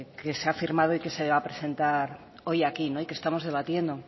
que se ha firmado y que se va a presentar hoy aquí y que estamos debatiendo